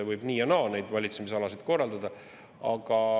Võib nii ja naa neid valitsemisalasid korraldada.